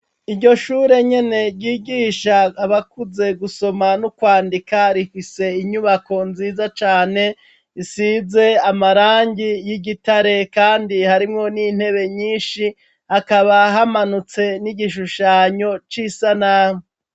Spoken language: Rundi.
Iryoshure nyene, ryigisha abakuze, gusoma no kwandika, rifise inyubako nziza cane, isize amarangi y'igitare, kandi harimwo n'intebe nyinshi; akaba hamanutse n'igishushanyo c'isanamu.